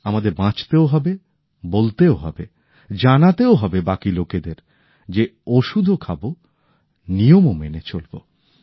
আমাদের বাঁচতেও হবে বলতেও হবে জানাতেও হবে বাকি লোকেদের যে ওষুধও খাবো নিয়মও মেনে চলবো